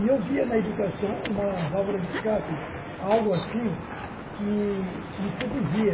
E eu via na educação uma válvula de escape, algo assim que me seduzia,